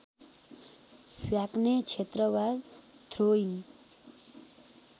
फ्याक्ने क्षेत्र वा थ्रोइङ